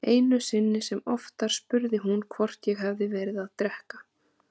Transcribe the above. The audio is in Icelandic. Einu sinni sem oftar spurði hún hvort ég hefði verið að drekka.